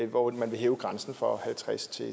hvor man vil hæve grænsen fra halvtredstusind